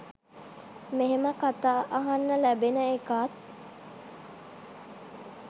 මෙහෙම කතා අහන්න ලැබෙන එකත්